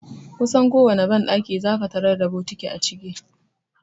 Kusan kowane banɗaki zaka tarar da bokiti (likidiri) a ciki.